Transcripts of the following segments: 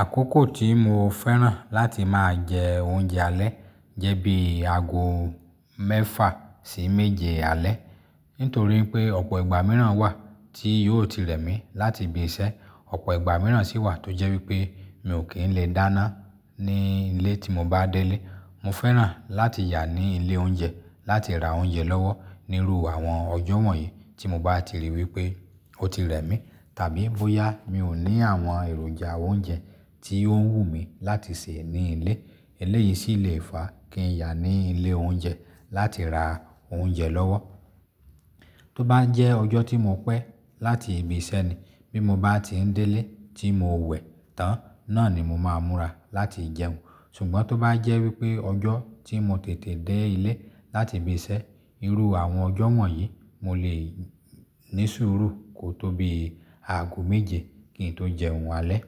Àkókò tí mo fẹ́ràn láti máa jẹ oúnjẹ alẹ́ jẹ́ bí aago mẹ́fà sí méje alẹ́. Nítorí pé ọ̀pọ̀ ìgbà mìíràn wà tí yóò ti rẹ̀ mí láti ibi ise, ọ̀pọ̀ ìgbà mìíràn sì wà tó jẹ́ wípé mi ò kí ń le dáná ní ilé tí mo bá delé. Mo fẹ́ràn láti yà ní ilé oúnjẹ láti ra oúnjẹ lọ́wọ́ níru àwọn ọjọ́ wọ̀nyí tí mo bá ti ríi wípé ó ti rẹ̀ mí. Tàbí bóyá mi ò ní àwọn èròjà oúnjẹ tí ó ń wù mí láti sè ní ilé. Eléyìí sì le fa kí n ya ní ilé oúnjẹ láti ra oúnjẹ lọ́wọ́. Tó bá jẹ́ ọjọ́ tí mo pẹ́ láti ibi isẹ́ ni, bí mo bá ti n delé tí mo wẹ̀ tán, náà ni mo máa múra láti jẹun. Ṣùgbọ́n tó bá jẹ́ wípé ọjọ́ tí mo tètè dé ilé láti ibi isẹ, iru àwọn ọjọ́ wọ̀nyí, mo lè ní sùúrù kó tó bí aago méje kí n tó jẹun alẹ́.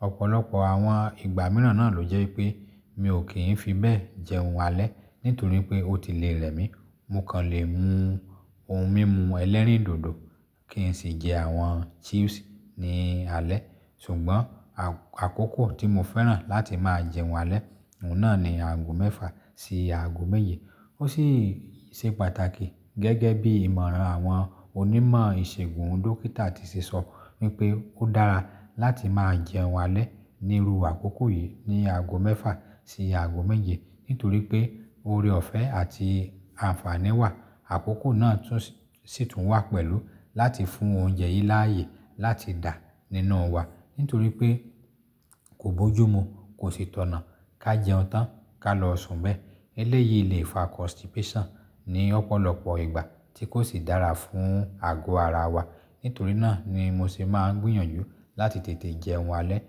Ọ̀pọ̀lọpọ̀ àwọn ìgbà mìíràn náà ló jẹ́ wípé mi ò kí ń fi bẹ́ẹ̀ jẹ oun alẹ́, nítorí pé ó ti le rẹ̀ mí. Mo kàn lè mu ohun mímu ẹlẹ́rìndòdò kí n sì jẹ àwọn chips ní alẹ́. Ṣùgbọ́n àkókò tí mo fẹ́ràn láti máa jẹ oun alẹ́, oun náà ni aago mẹ́fà sí aago méje. Ó sì se pàtàkì gẹ́gẹ́ bí ìmọ̀ràn àwọn onímọ̀ ìṣègùn dókítà ti ṣe sọ wípé ó dára láti máa jẹ oun alẹ́ níru àkókò yìí ní aago mẹ́fà sí aago méje. Nítorí pé oore ọ̀fẹ́ àti àǹfààní wà. Àkókò náà tún sì tún wà pẹ̀lú láti fún oúnjẹ yí láàyè láti dà nínú wa. Nítorí pé kò bójú mu, kò sì tọnà, ká jẹun tán ká lọ sùn bẹ́ẹ̀. Eléyìí lè fa constipation ní ọ̀pọ̀lọpọ̀ ìgbà tí kò sì dára fún àgọ́ ara wa. Nítorí náà ni mo se máa ń gbìyànjú láti tètè jẹun alẹ́.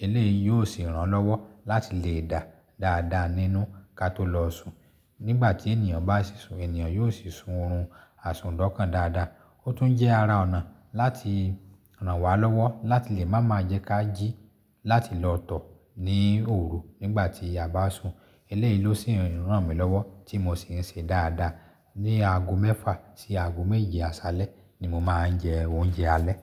Eléyìí yóò sì ràn lọ́wọ́ láti lè dà dáadáa nínú ká tó lọ sun. Nígbà tí ènìyàn bá sì sun, ènìyàn yóò sì sun oorun àsùndọkan dáadáa. Ó tún jẹ́ ara ọ̀nà láti ràn wá lọ́wọ́ láti lè má máa jẹ́ ká jí láti lọ tọ̀ ní òru nígbà tí a bá sun. Eléyìí ló sì ń ràn mí lọ́wọ́ tí mo sì ń se dáadáa. Ni aago mẹ́fà sí aago méje àsálẹ́ ni mo máa ń jẹ oúnjẹ alẹ́.